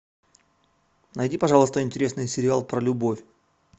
найди пожалуйста интересный сериал про любовь